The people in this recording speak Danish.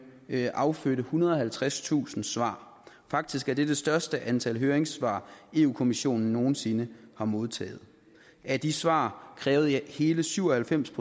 affødte ethundrede og halvtredstusind svar faktisk er det det største antal høringssvar europa kommissionen nogen sinde har modtaget af de svar krævede hele syv og halvfems